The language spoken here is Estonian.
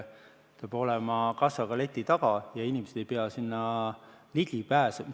Peab olema kassa ka leti taga ja inimesed ei pea sinna ligi pääsema.